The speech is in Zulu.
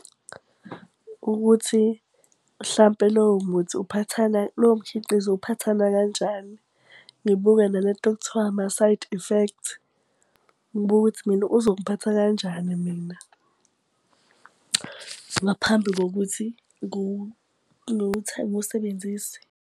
Ukuthi mhlampe lowo muthi uphathana lowo mkhiqizo uphathana kanjani? Ngibuke nale nto okuthiwa ama-side effect. Ngibuke ukuthi mina uzongiphatha kanjani mina. Ngaphambi kokuthi ngiwusebenzise.